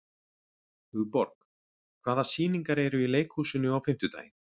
Hugborg, hvaða sýningar eru í leikhúsinu á fimmtudaginn?